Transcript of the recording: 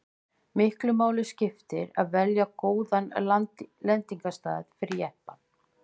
miklu máli skipti að velja góðan lendingarstað fyrir jeppann